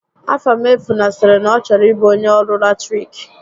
Afamefuna sịrị na ọ chọrọ ịbụ onyé ọrụ latiriki